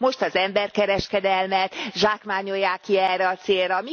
Most az emberkereskedelmet zsákmányolják ki erre a célra.